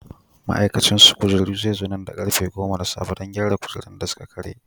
Ma'aikacin su kujeru zai zo nan da karfe 10: na safe, don gyara kujerun da suka karye.